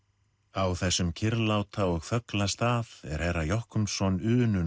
á þessum kyrrláta og þögla stað er herra Jochumsson unun